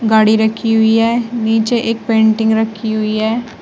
गाड़ी रखी हुई है। नीचे एक पेंटिंग रखी हुई है।